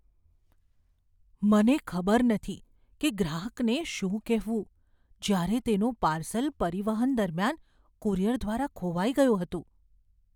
મને ખબર નથી કે ગ્રાહકને શું કહેવું, જ્યારે તેનું પાર્સલ પરિવહન દરમિયાન કુરિયર દ્વારા ખોવાઈ ગયું હતું.